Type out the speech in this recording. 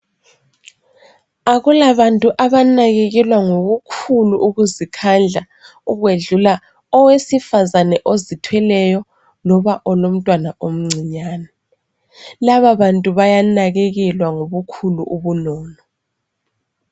Akula bantu abanakekelwa ngokukhulu ukuzikhandla ukwedlula owesifazana ozithweleyo loba olomntwana omncinyane. Laba bantu baya nakekelwa ngobukhulu ubunono.